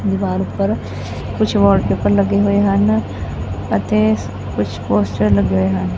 ਦੀਵਾਰ ਉਪਰ ਕੁਛ ਵਾਲਪੇਪਰ ਲੱਗੇ ਹੋਏ ਹਨ ਅਤੇ ਕੁਝ ਪੋਸਟਰ ਲੱਗੇ ਹੋਏ ਹਨ।